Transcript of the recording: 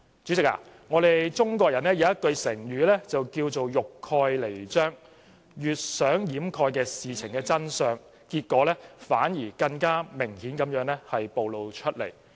主席，中國人有句成語是"欲蓋彌彰"，越想掩蓋事情的真相，結果反而更明顯地暴露出來。